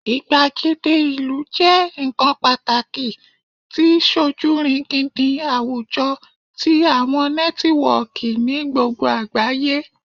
igbagede ilu jẹ nkan pataki ti sojurigindin awujọ ti awọn nẹtiwọọki ni gbogbo agbaye